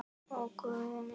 Ó Guð minn.